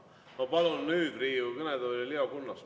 Ma palun nüüd Riigikogu kõnetooli Leo Kunnase.